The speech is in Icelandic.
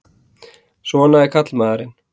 Svona er karlmaðurinn!